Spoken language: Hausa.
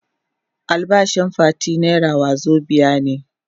Albashin Fati naira wazobia ne.